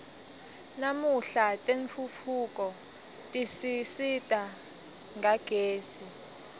namuhla tentfutfuko tisisita ngagezi